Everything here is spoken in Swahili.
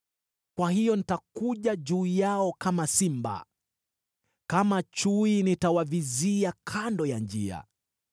Kwa hiyo nitakuja juu yao kama simba, kama chui nitawavizia kando ya njia.